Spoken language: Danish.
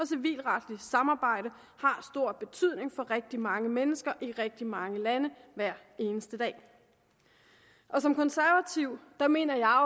civilretlige samarbejde har stor betydning for rigtig mange mennesker i rigtig mange lande hver eneste dag som konservativ mener jeg